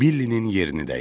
Billinin yerini dəyişdirim.